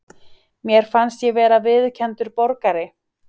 Mér fannst ég vera viðurkenndur borgari.